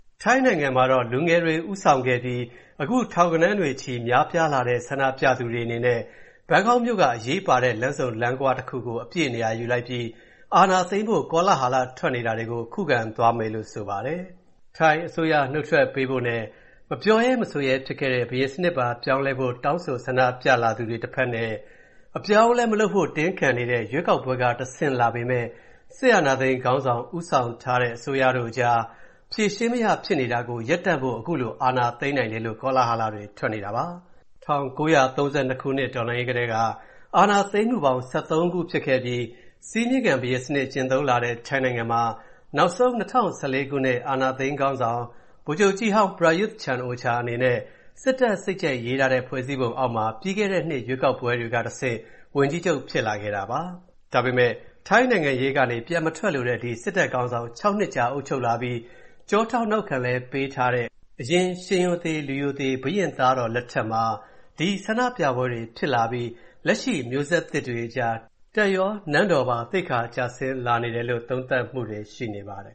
ထိုင်းနိုင်ငံမှာ လူငယ်တွေဦးဆောင်ခဲ့ပြီး ထောင်ဂဏန်းတွေချီများလာတဲ့ ဆန္ဒပြသူတွေအနေနဲ့ ဘန်ကောက်မြို့က အရေးပါတဲ့လမ်းဆုံလမ်းခွကို အပြည့်နေရာ ယူပြီး ဆန္ဒပြနေကြပါတယ်။ စစ်တပ်က အာဏာသိမ်းမယ်လို့ ကောလဟာလတွေ ထွက်နေချိန်မှာ အာဏာသိမ်းဖို့ ကြိုးပမ်းမှုဟူသမျှကို ခုခံသွားမယ်လို့ ဆန္ဒပြသူတွေက ပြောကြားလိုက်ပါတယ်။ ထိုင်းအစိုးရနုတ်ထွက်ပေးပြီး၊ ပြောမရဲဆိုမရဲဖြစ်ခဲ့တဲ့ ဘုရင်စနစ်ပါ ပြောင်းလဲရေး တောင်းဆို ဆန္ဒပြလာသူတွေနဲ့ အပြောင်းအလဲမလုပ်ဖို့ တင်းခံနေတဲ့ ရွေးကောက်ပွဲကတဆင့်လာပေမဲ့ စစ်အာဏာသိမ်းခေါင်းဆောင် ဦးဆောင်တဲ့ အစိုးရအကြား ဖြေရှင်းမရဖြစ်နေတာကို ရပ်တန့်ဖို့ ခုလို အာဏာသိမ်းနိုင်မယ်ဆိုတဲ့ ကောလဟာလတွေထွက်နေတာပါ။ ၁၉၃၂ ခုနှစ်တော်လှန်းရေးကတည်းက အာဏာသိမ်းမူပေါင်း ၁၃ ခုဖြစ်ခဲ့ပြီး၊ စည်းမျဉ်းခံဘုရင်စနစ် ကျင့်သုံးလာတဲ့ ထိုင်းနိုင်ငံမှာ၊ နောက်ဆုံး ၂၀၁၄ ခုနှစ် အာဏာသိမ်ခေါင်းဆောင် ဗိုလ်ချုပ်ကြီးဟောင်း Prayuth Chan-O-Cha အနေနဲ့၊ စစ်တပ်စိတ်ကြိုက်ရေးထားတဲ့ ဖွဲ့စည်းပုံအောက်မှာ၊ ပြီးခဲ့တဲနှစ်ရွေးကောက်ပွဲကနေတဆင့် ဝန်ကြီးချုပ် ဖြစ်လာခဲ့တာပါ။ ဒါပေမဲ့ နိုင်ငံရေးကနေပြန်မထွက်လိုတဲ့ ဒီစစ်တပ်ခေါင်းဆောင် ၆ နှစ်ကြာအုပ်ချုပ်လာပြီး၊ ကျောထောက်နောက်ခံပေးထားတဲ့ အရင်ရှင်ရိုသေလူရိုသေ ဘုရင့်သားတော်လက်ထက်မှာ၊ ဒီဆန္ဒပြပွဲပွဲတွေဖြစ်လာပြီး၊ လက်ရှိမျိုးဆက်သစ်တွေအကြား တပ်ရောနန်းတော်ပါ သိက္ခာကျဆင်းလာနေတယ်လို့ သုံးသပ်မူတွေရှိနေပါတယ်